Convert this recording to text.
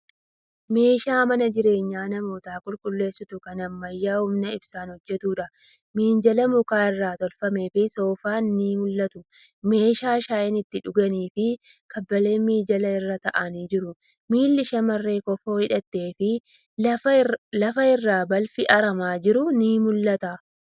Meeshaa mana jireenya namootaa qulqulleessitu kan ammayyaa humna ibsaan hojjatuudha. Minjaalli muka irraa tolfameefi Soofaan ni mul'atu. Meeshaa shaayii ittiin dhuganiifi kaabileen minjaala irra taa'aanii jiru. Miilli shamarree kofoo hidhatteefi lafa irratti balfi haramaa jiru ni mul'ata.